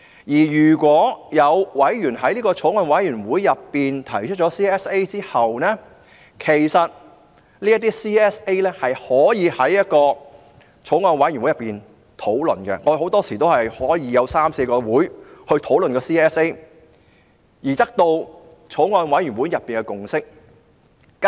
如有委員在法案委員會上提出 CSA 後，其實委員可就這些 CSA 在法案委員會會議上進行討論，我們很多時有三四個會議也在討論 CSA， 直至得到法案委員會內的共識。